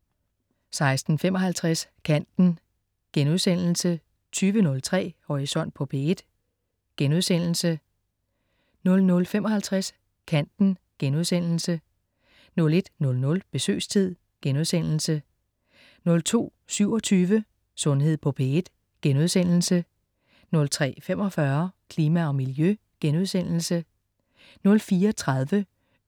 16.55 Kanten* 20.03 Horisont på P1* 00.55 Kanten* 01.00 Besøgstid* 02.27 Sundhed på P1* 03.45 Klima og miljø* 04.30